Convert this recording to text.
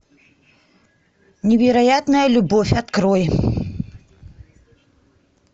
невероятная любовь открой